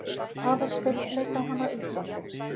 Aðalsteinn leit á hana undrandi.